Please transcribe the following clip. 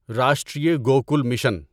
Rashtriya Gokul mission